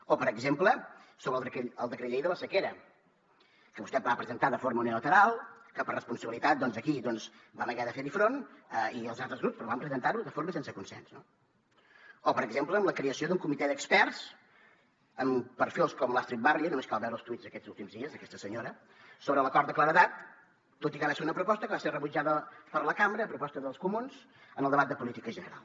o per exemple sobre el decret llei de la sequera que vostè va presentar de forma unilateral que per responsabilitat aquí doncs vam haver de fer hi front i els altres grups però van presentar ho de forma sense consens no o per exemple amb la creació d’un comitè d’experts amb perfils com l’astrid barrio només cal veure els tuits d’aquests últims dies d’aquesta senyora sobre l’acord de claredat tot i que va ser una proposta que va ser rebutjada per la cambra a proposta dels comuns en el debat de política general